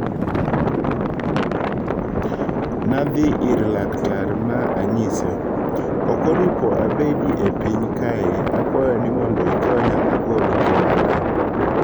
Nadhi ir Lktar ma anyise,"Ok oripo abedi e piny kae akwayo ni mond ikonya agol ngimana."